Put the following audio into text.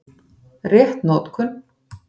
Rétt notkun